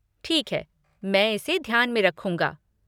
ठीक है, मैं इसे ध्यान में रखूंगा।